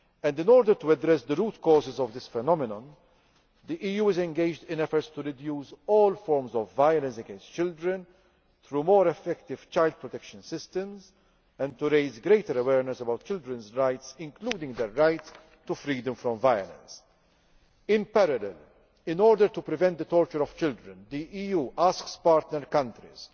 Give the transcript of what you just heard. In order to address the root causes of this phenomenon, the EU is engaged in efforts to reduce all forms of violence against children through more effective child protection systems and to raise greater awareness about children's rights, including their right to freedom from violence. In parallel, in order to prevent the torture of children, the EU asks the partner countries